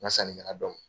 N ka sannikɛla dɔ ma